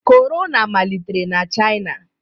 Corona malitere na China